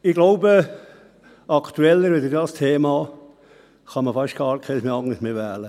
Ich glaube, ein aktuelleres Thema als dieses kann man fast nicht wählen.